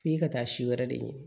F'i ka taa si wɛrɛ de ɲini